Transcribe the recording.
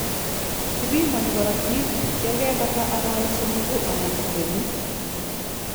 Kibimanii korotik yakepata araweek somogu anan ko kenyit